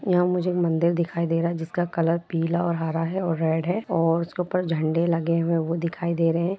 यहां मुझे मंदिर दिखाई दे रहा है जिसका कलर पीला और हरा है रेड है और उसके ऊपर झंडे लगे हुए वो दिखाई दे रहे हैं ।